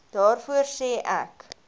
daarvoor sê ek